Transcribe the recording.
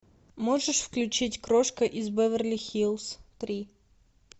можешь включить крошка из беверли хиллз три